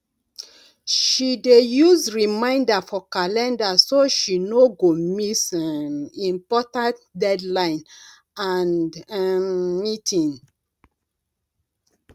she dey use reminder for calender so she no go miss um important deadline and um meeting